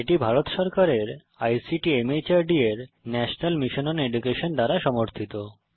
এটি ভারত সরকারের আইসিটি মাহর্দ এর ন্যাশনাল মিশন ওন এডুকেশন দ্বারা সমর্থিত